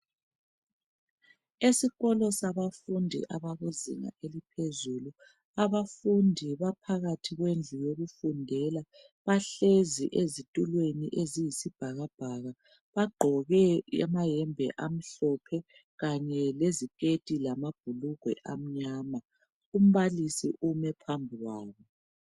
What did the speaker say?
Esikolo sabafundi abakuzinga eliphezulu abafundi baphakathi kwendlu yokufundela bahlezi ezitulweni eziyi sibhakabhaka bagqoke amayembe amhlophe kanye leziketi lamabhulugwe amnyama umbalisi ume phambi kwabo.